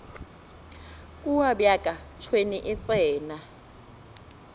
kua bjaka tšhwene e tsena